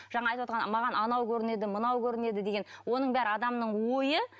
жаңа айтып отырған маған анау көрінеді мынау көрінеді деген оның бәрі адамның ойы